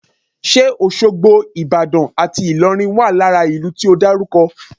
Ṣe Òṣogbo, Ìbàdàn àti Ìlọrin wà lára ìlú tí o dárúkọ?